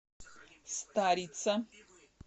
старица